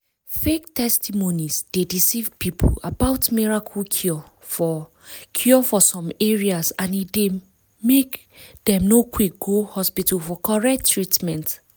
fake testimonies dey deceive people about miracle cure for cure for some area and e dey make dem no quick go hospital for correct treatment.